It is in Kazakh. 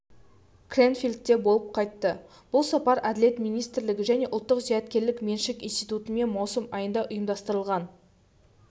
крэнфилдте болып қайтты бұл сапар әділет министрлігі және ұлттық зияткерлік меншік институтымен маусым айында ұйымдастырылған